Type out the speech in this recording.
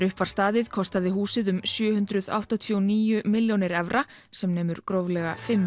upp var staðið kostaði húsið um sjö hundruð áttatíu og níu milljónir evra sem nemur gróflega fimm